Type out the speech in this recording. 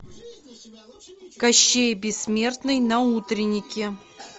кощей бессмертный на утреннике